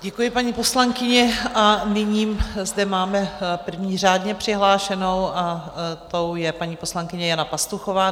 Děkuji, paní poslankyně, a nyní zde máme první řádně přihlášenou, a tou je paní poslankyně Jana Pastuchová.